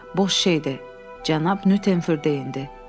"Boş şeydir" cənab Nyuternfür deyindi.